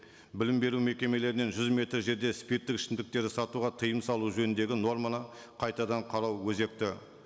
білім беру мекемелерінен жүз метр жерде спирттік ішімдіктерді сатуға тыйым салу жөніндегі норманы қайтадан қарау өзекті